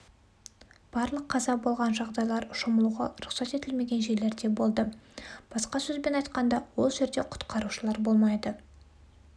барлық қаза болған жағдайлар шомылуға рұқсат етілмеген жерлерде болды басқа сөзбен айтқанда ол жерде құтқарушылар болмайды